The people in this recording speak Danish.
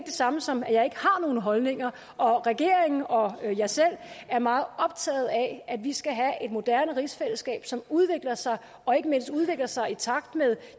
samme som at jeg ikke har nogen holdninger regeringen og jeg selv er meget optaget af at vi skal have et moderne rigsfællesskab som udvikler sig og ikke mindst udvikler sig i takt med